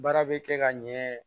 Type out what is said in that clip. Baara bɛ kɛ ka ɲɛ